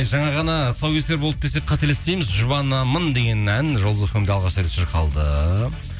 жаңа ғана тұсаукесер болды десек қателеспейміз жұбанамын деген ән жұлдыз фм де алғаш рет шырқалды